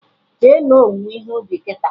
Jee me owuwe ihe ubi kịta!